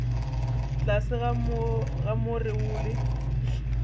tlase ga more wo le